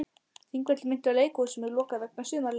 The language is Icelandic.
Þingvellir minntu á leikhús sem er lokað vegna sumarleyfa.